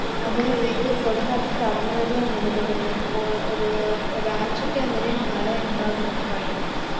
അതായത് കൊടുംകാറ്റ് കടന്നാലേ അങ്ങനെത്തതന്നെയാ പ്പോ ഒരു ആഴ്ചക്കങ്ങനേം മള ഇണ്ടാകുന്ന പറയ്ന്നെ